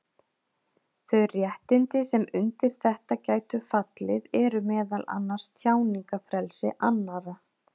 Þau réttindi sem undir þetta gætu fallið eru meðal annars tjáningarfrelsi annarra.